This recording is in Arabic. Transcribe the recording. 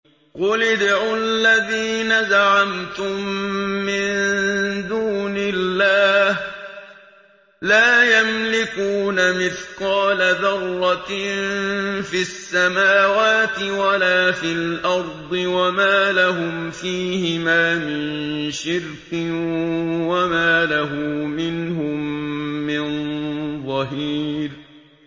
قُلِ ادْعُوا الَّذِينَ زَعَمْتُم مِّن دُونِ اللَّهِ ۖ لَا يَمْلِكُونَ مِثْقَالَ ذَرَّةٍ فِي السَّمَاوَاتِ وَلَا فِي الْأَرْضِ وَمَا لَهُمْ فِيهِمَا مِن شِرْكٍ وَمَا لَهُ مِنْهُم مِّن ظَهِيرٍ